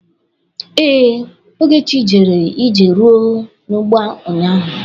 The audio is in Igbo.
Ee, Ogechi jere ije rụọ n'ugbo ụnyaahụ.